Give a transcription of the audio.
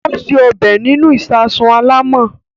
Ó se ọbẹ̀ nínú ìsasùn alámọ̀.